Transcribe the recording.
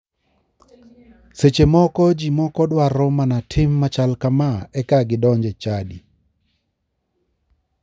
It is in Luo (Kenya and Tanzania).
Seche moko ji moko dwaro mana tim machal kama eka gidonj e chadi.